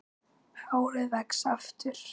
Hárið vex aftur.